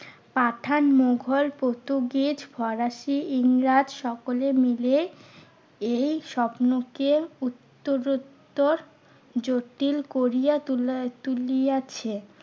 পাঠান, মুঘল, পর্তুগিজ, ফরাসি, ইংরেজ সকলে মিলে এই স্বপ্নকে উত্তরোত্তর জটিল করিয়া তুলিয়া~ তুলিয়াছে।